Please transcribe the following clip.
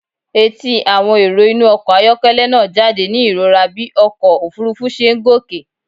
Etí àwọn èrò inú ọkọ̀ ayọ́kẹ́lẹ́ náà jáde ní ìrora bí ọkọ̀ òfuurufú ṣe ń gòkè.